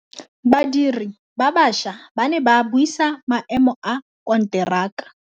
Badiri ba baša ba ne ba buisa maêmô a konteraka.